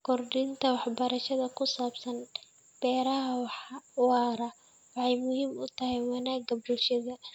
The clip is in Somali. Kordhinta waxbarashada ku saabsan beeraha waara waxay muhiim u tahay wanaagga bulshada.